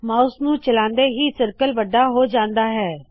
mouse ਨੂ ਚਲਾਉਂਦੇ ਹੀ ਸਰਕਲ ਵੱਡਾ ਹੋ ਜਾੰਦਾ ਹੈ